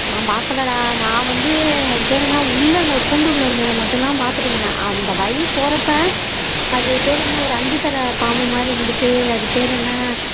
நான் பாக்கலடா நான் வந்து அது பேரு என்ன உள்ள அந்த கூண்டுள்ள இருந்தத மட்டும் தான் பாத்துட்டு வந்தேன் அந்த வழி போறப்ப அது பேரு என்ன ஒரு அஞ்சு தல பாம்பு மாதிரி இருந்துட்டு அது பேரு என்ன